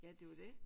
Ja det er jo det